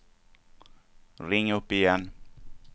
ring upp igen